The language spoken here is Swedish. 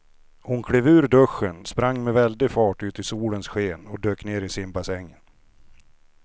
Hon klev ur duschen, sprang med väldig fart ut i solens sken och dök ner i simbassängen.